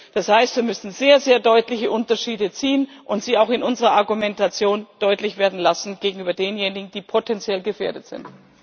Das heißt, wir müssen sehr deutliche Unterschiede ziehen und sie auch in unserer Argumentation deutlich werden lassen gegenüber denjenigen, die potenziell gefährdet sind.